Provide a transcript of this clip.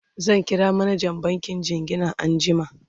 zan kira manjan bankin jingina anjiama